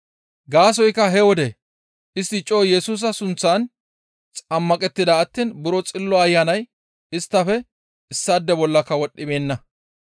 Gaasoykka he wode istti coo Yesusa sunththan xammaqettida attiin buro Xillo Ayanay isttafe issaade bollaka wodhdhibeenna.